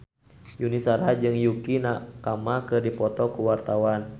Yuni Shara jeung Yukie Nakama keur dipoto ku wartawan